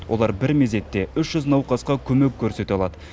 олар бір мезетте үш жүз науқасқа көмек көрсете алады